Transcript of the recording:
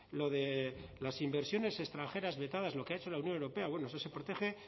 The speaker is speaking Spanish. lo de las inversiones extranjeras vetadas lo que ha hecho la unión europea bueno se protege